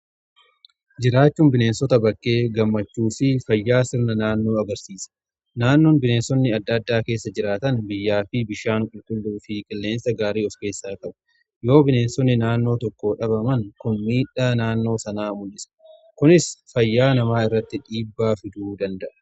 jiraachuun bineensota bakkee gammachuufii fayyaa sirna naannoo agarsiisa. naannoon bineensonni adda addaa keessa jiraatan biyyaa fi bishaan qulqulluu fi qilleensa gaarii of keessaa qabu yoo ta'u bineensonni naannoo tokko dhabaman kun miidhaa naannoo sanaa mul'isa kunis fayyaa namaa irratti dhiibbaa fiduu danda'a.